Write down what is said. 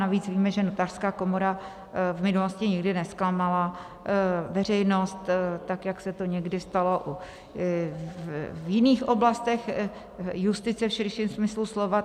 Navíc víme, že Notářská komora v minulosti nikdy nezklamala veřejnost tak, jak se to někdy stalo v jiných oblastech justice v širším smyslu slova.